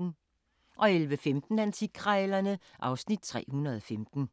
11:15: Antikkrejlerne (Afs. 315)